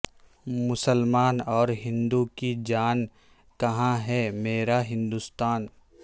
مسلمان اور ہندو کی جان کہاں ہے میرا ہندوستان